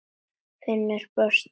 Finnur brosti.